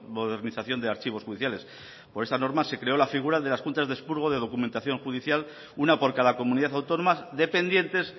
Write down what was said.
modernización de archivos judiciales por esta norma se creó la figura de las juntas de expurgo de documentación judicial una por cada comunidad autónoma dependientes